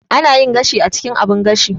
Ana yin gashi a cikin abun gashi.